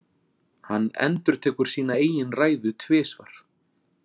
Hann endurtekur sína eigin ræðu tvisvar.